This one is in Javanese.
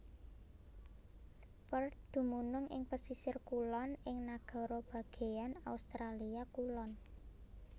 Perth dumunung ing pesisir kulon ing Nagara Bagéan Australia Kulon